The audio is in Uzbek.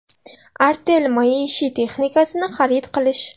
Artel maishiy texnikasini xarid qilish!